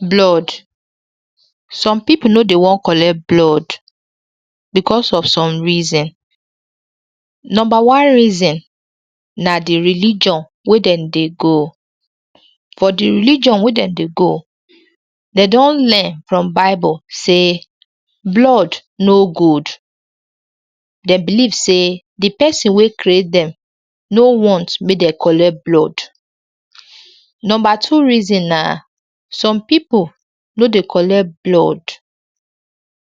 blood some pipo no dey wan collect blood becos of some reason numba one reason na di religion wey dem dey go for di religion wey dem dey go dem don learn from bible say blood no good dem believe say di person wey create dem no want make dem collect blood numba two reason na some people no de collect blood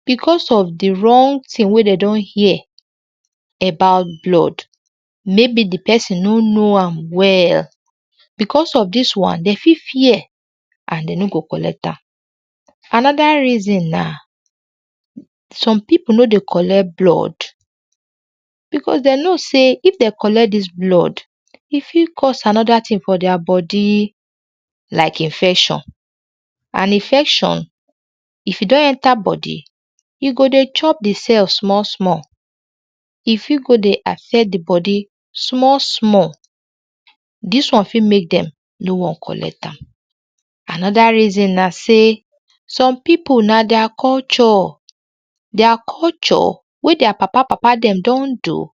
because of d wrong tin wey de don hear about blood maybe d person no know am well, because of dis one dem fit fear and dem no go collect am anoda reason na some pipu no de collect blood because dem know say if dem collect did blood e fit cause another tin for their bodi like infection and infection if e don enter body, e go de chop de cell small small e fit go de affect d body small small dis one fit make dem no wan collect am, anode reason na say some people na thier culture, their culture wey their papa papa dem don do,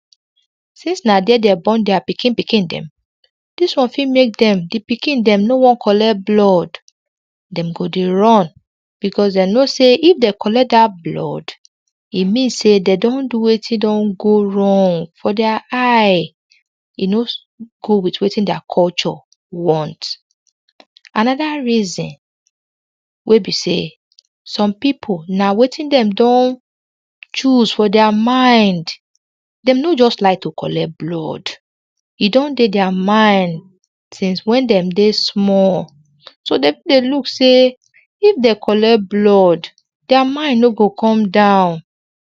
since na there dem born deir pikin pikin dem this one fit make dem d pikin dem no wan collect blood, dem go de run because dem know say if dem know say if dem collect dat blood e mean say dem don do wetin don de wrong for thier eye e no go with wetin thier culture want. Anoda reason wey be say some pipu na wetin dem don choose for their mind, dem no just like to collect blood e don de their mind since when dem de small de look say if dem collect blood their mind no go come down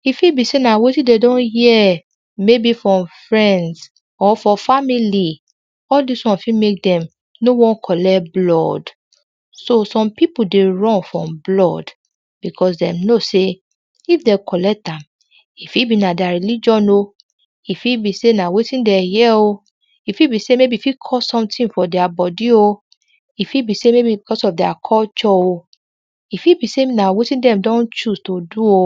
e fit be say na wetin dem don hear maybe from friends or from family all this one fit make dem no wan collect blood so some people de run from blood because dem know say if dem collect am e fi be na their religion o e fi be say na wetin dem hear o e fi be say e fit xause sometin for their body o e fi be say maybe because of their culture o e fi be say na wetin dem don choose to do o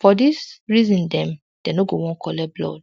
for dis reason dem de no to wan collect blood.